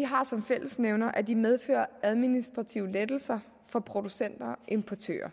har som fællesnævner at de medfører administrative lettelser for producenter og importører